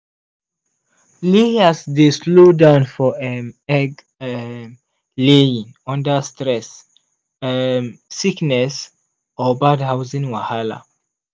layers dey slow down for um egg um laying under stress um sickness or bad housing wahala.